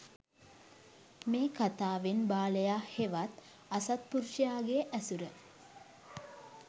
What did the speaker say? මේ කථාවෙන් බාලයා හෙවත් අසත්පුරුෂයාගේ ඇසුර